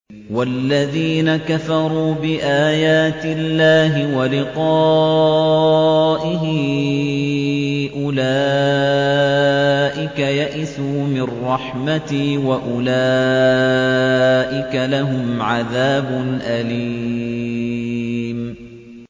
وَالَّذِينَ كَفَرُوا بِآيَاتِ اللَّهِ وَلِقَائِهِ أُولَٰئِكَ يَئِسُوا مِن رَّحْمَتِي وَأُولَٰئِكَ لَهُمْ عَذَابٌ أَلِيمٌ